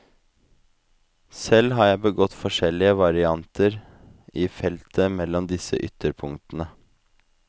Selv har jeg begått forskjellige varianter i feltet mellom disse ytterpunktene.